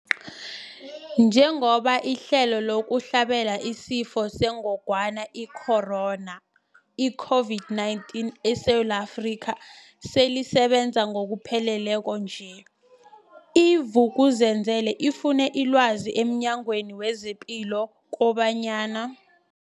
Njengoba ihlelo lokuhlabela isiFo sengogwana i-Corona, i-COVID-19, eSewula Afrika selisebenza ngokupheleleko nje, i-Vuk'uzenzele ifune ilwazi emNyangweni wezePilo kobanyana.